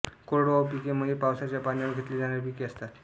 कोरडवाहू पिके म्हणजे पावसाच्या पाण्यावर घेतली जाणारी पिके असतात